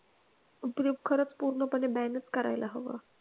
उपयोग खरंच पूर्णपणे ban च करायला हवं.